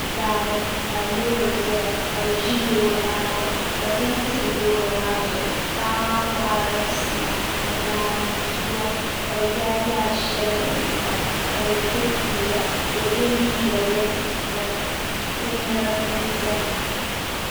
Daani ka lori ʒɛya ka bi ʒi loori maa gbuni ka bin tili loori maa zuɣu paɣa maa koharila sima ni naanzuwa ka bi yaai yaai shɛli n pa ka bi diri fiila ka o yɛ liiga rɛd ka binyɛra biɛni biɛni